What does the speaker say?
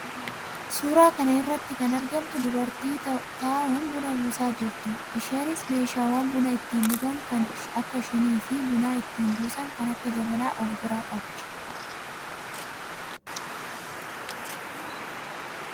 Suuraa kana irratti kan irratti kan argamtu dubartii taa'uun buna buusaa jirtuudha. Isheeniis meeshaawwan buna ittiin dhugan kan akka shinii fi buna ittiin buusan kan akka jabanaa of biraa qabdi.